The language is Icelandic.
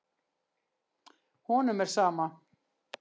Honum er sama.